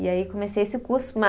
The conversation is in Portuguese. E aí comecei esse curso.